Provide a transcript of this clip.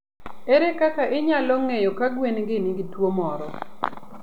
Ere kaka inyalo ng'eyo ka gwen gi nigi tuwo moro?